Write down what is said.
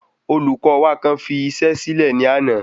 Olùkó wa kan fi iṣẹ sílẹ ní àná